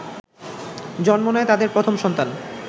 জন্ম নেয় তাদের প্রথম সন্তান